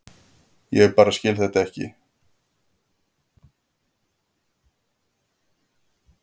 Ég bara skil þetta ekki.